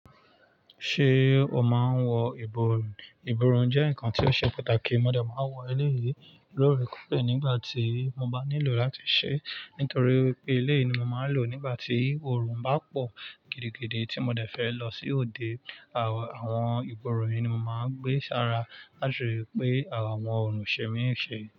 Ṣé o máa ń wọ ìborùn? Ìborùn jẹ́ nǹkan tí ó ṣe pàtàkì. Mo dẹ̀ máa wọ eléyìí lórí kùpẹ̀ nígbà tí mo bá nílò láti ṣẹ́ nítorí wipé eléyìí ni mo máa ń lò nígbà tí oòrùn bá pọ̀ gidigidi tí mo dẹ̀ fẹ́ lọ sí òde. Àwọn ìborùn yìí ni mo máa ń gbé sára láti rí pé àwọn òrùn o ṣe mi ńi eṣe.